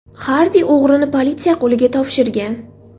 Xardi o‘g‘rini politsiya qo‘liga topshirgan.